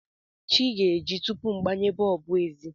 Chi ga-eji tupu m gbanye bọlbụ ezi.